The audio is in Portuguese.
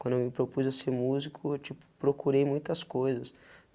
Quando eu me propus a ser músico, eu tipo, procurei muitas coisas.